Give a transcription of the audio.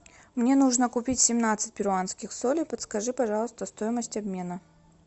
мне нужно купить семнадцать перуанских солей подскажи пожалуйста стоимость обмена